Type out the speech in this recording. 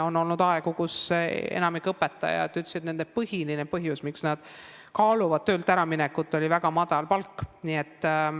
On olnud aegu, kui enamik õpetajaid ütles, et põhiline põhjus, miks nad kaaluvad töölt äraminekut, on väga madal palk.